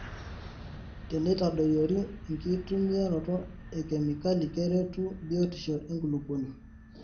Teneitadoyiori enkitumiaroto ekemikol keretu biotisho enkulupuoni.